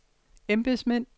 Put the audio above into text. embedsmænd